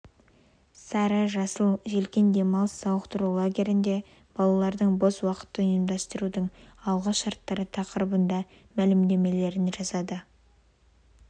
сары жасыл желкен демалыс сауықтыру лагерінде балалардың бос уақытын ұйымдастырудың алғы шарттары тақырыбында мәлімдемелерін жасады